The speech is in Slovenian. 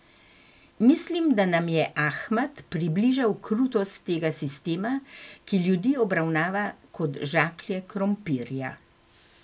Mislim, da nam je Ahmad približal krutost tega sistema, ki ljudi obravnava kot žaklje krompirja.